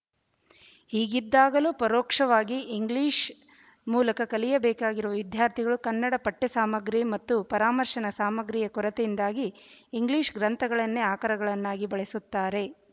ಹೀಗಿದ್ದಾಗಲೂ ಪರೋಕ್ಷವಾಗಿ ಇಂಗ್ಲಿಶ ಮೂಲಕ ಕಲಿಯಬೇಕಾಗಿರುವ ವಿದ್ಯಾರ್ಥಿಗಳು ಕನ್ನಡ ಪಠ್ಯಸಾಮಗ್ರಿ ಮತ್ತು ಪರಾಮರ್ಶನ ಸಾಮಗ್ರಿಯ ಕೊರತೆಯಿಂದಾಗಿ ಇಂಗ್ಲಿಶ ಗ್ರಂಥಗಳನ್ನೇ ಆಕರಗಳನ್ನಾಗಿ ಬಳಸುತ್ತಾರೆ